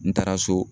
N taara so